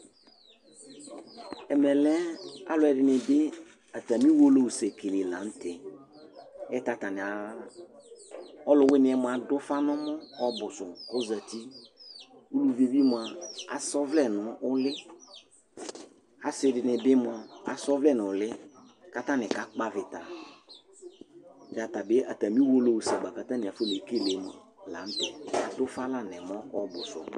elʊɗjaɗilatɛ atamɩese wlewanɩ asalɩ, mɛ alɔtɔnɩɛ aɗʊ ʊƒa nʊ ɛmɔ poo ɔlʊ ɛɗɩta asa ɔʋlɛnʊ ʊlɩ asɩɗɩnɩɓɩ asa ɔʋlɛ nʊ ʊlɩ mɛ ataɗja aƙaƙpɔ aʋɩta amɛla atanɩ aƒɔneƙele